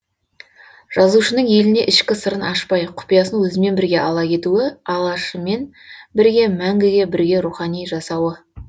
жазушының еліне ішкі сырын ашпай құпиясын өзімен бірге ала кетуі алашымен бірге мәңгіге бірге рухани жасауы